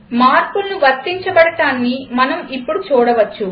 మార్పులు వర్తించబడటాన్ని మనం ఇప్పుడు చూడవచ్చు